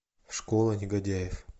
школа негодяев